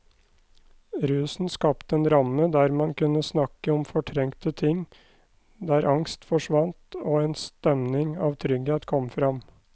Rusen skapte en ramme der man kunne snakke om fortrengte ting, der angst forsvant og en stemning av trygghet kom fram.